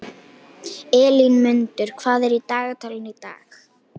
Elínmundur, hvað er í dagatalinu í dag?